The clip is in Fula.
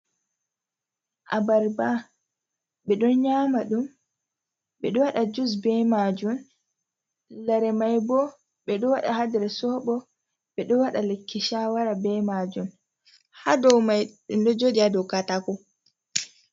Abarba ɓe ɗon nyama ɗum, bedo waɗa jus be majun, lare mai bo ɓe ɗo waɗa ha nder sobo, ɓe ɗo waɗa likki shawara be majun, ha ɗo mai ɗum ɗo joɗi ha dow Katako.